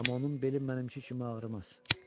Amma onun beli mənimki kimi ağrımaz.